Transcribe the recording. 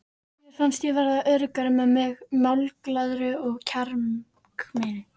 Mér fannst ég verða öruggari með mig, málglaðari og kjarkmeiri.